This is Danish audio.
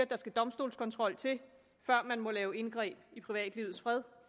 der skal domstolskontrol til før man må lave et indgreb i privatlivets fred